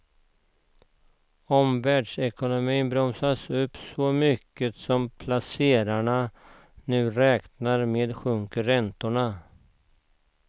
Om världsekonomin bromsas upp så mycket som placerarna nu räknar med sjunker räntorna.